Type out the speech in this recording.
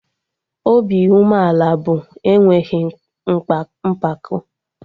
Obi umeala bụ enweghị mpako